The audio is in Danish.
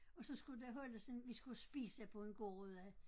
Og så skulle der holdes en vi skulle spise på en gård ude